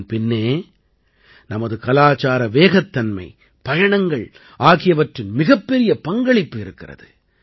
இதன் பின்னே நமது கலாச்சார வேகத் தன்மை பயணங்கள் ஆகியவற்றின் மிகப்பெரிய பங்களிப்பு இருக்கிறது